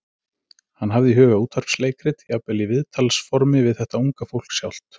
Hann hafði í huga útvarpsleikrit, jafnvel í viðtalsformi við þetta unga fólk sjálft.